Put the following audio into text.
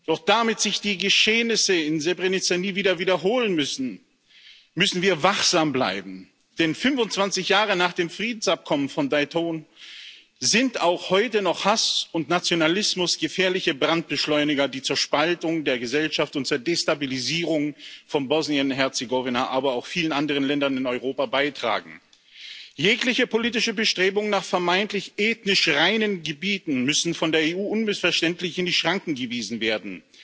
Doch damit sich die Geschehnisse in Srebrenica nie wiederholen, müssen wir wachsam bleiben, denn 25 Jahre nach dem Friedensabkommen von Dayton sind auch heute noch Hass und Nationalismus gefährliche Brandbeschleuniger, die zur Spaltung der Gesellschaft und zur Destabilisierung von Bosnien und Herzegowina, aber auch vielen anderen Ländern in Europa beitragen. Jegliche politischen Bestrebungen nach vermeintlich ethnisch reinen Gebieten müssen von der EU unmissverständlich in die Schranken gewiesen werden.